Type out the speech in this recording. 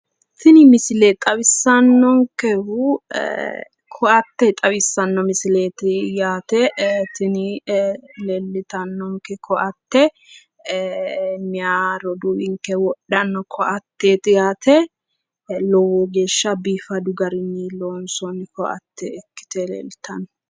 Tini misile xawissannonkehu koatte xawissanno misileeti yaate. Tini leellitannonke koatte meyaa rooduuwinke wodhanno koatteeti yaate, lowo geeshsha biifadu garinni loonsoonni koatte ikkite leeltanno.